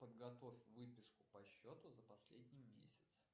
подготовь выписку по счету за последний месяц